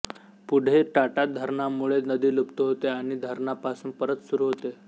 पुढे टाटा धरणामुळे नदी लुप्त होते आणि धरणापासून परत सुरू होते